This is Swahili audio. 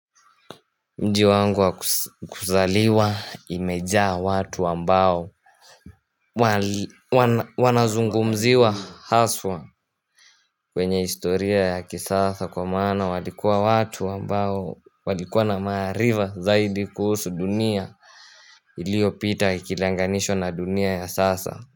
Mji wangu wa kuzaliwa imejaa watu ambao wanazungumziwa haswa kwenye historia ya kisasa kwa maana walikuwa watu ambao walikuwa na maarifa zaidi kuhusu dunia iliyopita ikilinganishwa na dunia ya sasa.